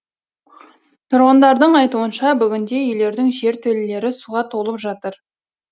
тұрғындардың айтуынша бүгінде үйлердің жертөлелері суға толып жатыр